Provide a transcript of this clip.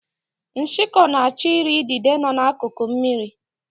Nshikọ na-achọ ị ri idide nọ n'akuku mmiri.